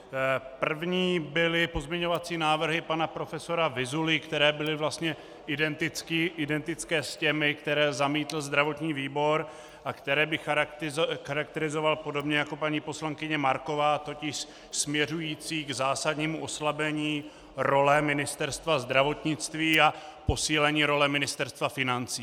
První byly pozměňovací návrhy pana profesora Vyzuly, které byly vlastně identické s těmi, které zamítl zdravotní výbor a které bych charakterizovat podobně jako paní poslankyně Marková, totiž směřující k zásadnímu oslabení role Ministerstva zdravotnictví a posílení role Ministerstva financí.